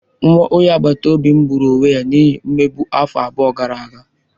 Nwa onye agbata obi m gburu onwe ya n'ihi mmegbu afọ abụọ gara aga.